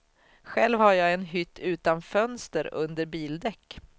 Själv har jag en hytt utan fönster under bildäck.